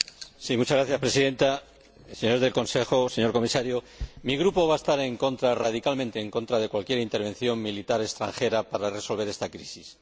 Señora Presidenta, señores del Consejo, señor Comisario, mi grupo va a estar en contra, radicalmente en contra, de cualquier intervención militar extranjera para resolver esta crisis.